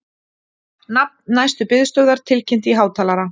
Nafn næstu biðstöðvar tilkynnt í hátalara